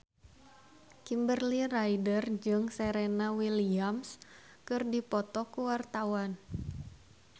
Kimberly Ryder jeung Serena Williams keur dipoto ku wartawan